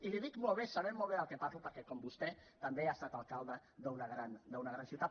i li dic molt bé sé molt bé del que parlo perquè com vostè també he estat alcalde d’una gran ciutat